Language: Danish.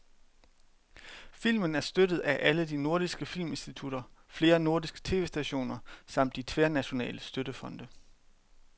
Filmen er støttet af alle de nordiske filminstitutter, flere nordiske tv-stationer samt de tværnationale støttefonde.